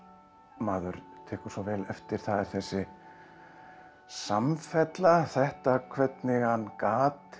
maður tekur svo vel eftir það er þessi samfella þetta hvernig hann gat